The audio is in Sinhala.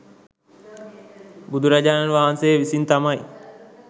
බුදුරජාණන් වහන්සේ විසින් තමයි